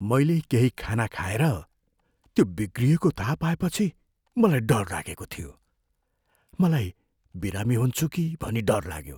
मैले केही खाना खाएर त्यो बिग्रिएको थाहा पाएपछि मलाई डर लागेको थियो। मलाई बिरामी हुन्छु कि भनी डर लाग्यो।